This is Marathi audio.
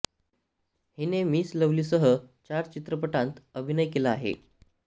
हिने मिस लव्हली सह चार चित्रपटांत अभिनय केला आहे